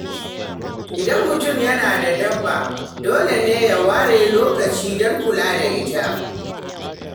Idan mutum yana da dabba, dole ne ya ware lokaci don kula da ita.